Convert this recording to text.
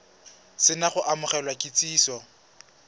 se na go amogela kitsiso